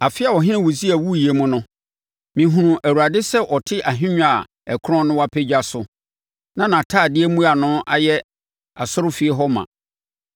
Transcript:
Afe a ɔhene Usia wuiɛ mu no, mehunuu Awurade sɛ ɔte ahennwa a, ɛkorɔn na wapagya so na nʼatadeɛ mmuano ayɛ asɔrefie hɔ ma.